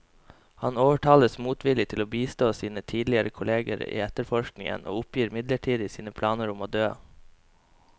Han overtales motvillig til å bistå sine tidligere kolleger i etterforskningen, og oppgir midlertidig sine planer om å dø.